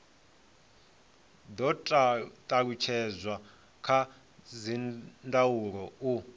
do talutshedzwa kha dzindaulo u